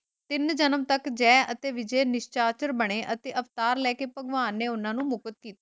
ਤਿੰਨ ਜਨਮ ਤੱਕ ਜੈ ਅਤੇ ਵਿਜੇ ਨਿਸ਼ਾਚਰ ਬਣੇ ਅਤੇ ਅਵਤਾਰ ਲੈਕੇ ਭਗਵਾਨ ਨੇ ਉਹਨਾਂ ਨੂੰ ਮੁਕਤ ਕੀਤਾ।